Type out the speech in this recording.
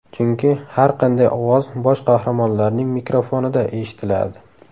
Chunki har qanday ovoz bosh qahramonlarning mikrofonida eshitiladi.